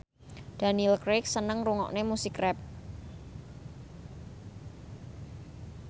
Daniel Craig seneng ngrungokne musik rap